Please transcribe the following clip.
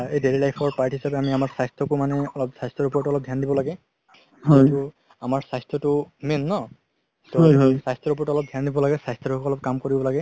এই daily life ৰ part হিচাপে আমি আমাৰ স্বাস্থ্যকো মানে অলপ স্বাস্থ্যৰ ওপৰতো ধ্যান দিব লাগে আমাৰ স্বাস্থ্যতো main ন স্বাস্থ্যৰ ওপৰতো ধ্যান দিব লাগে স্বাস্থ্যৰ হৈ অলপ কাম কৰিব লাগে